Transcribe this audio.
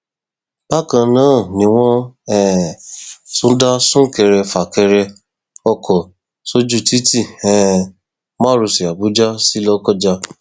bákan náà ni wọn um tún dá súnkẹrẹfìkẹrẹ ọkọ sójú títí um márosẹ àbújá sí lọkọjá